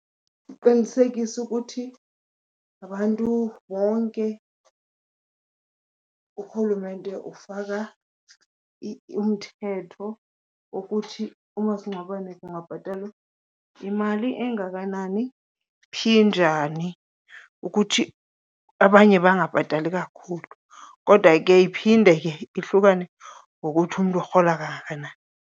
Kuqinisekiswe ukuthi abantu bonke urhulumente ufaka umthetho wokuthi umasingcwabane kungabhatalwa imali engakanani, phi, njani, ukuthi abanye bangabhatali kakhulu, kodwa ke iphinde ke ihlukane ngokuthi umntu urhola kangakanani.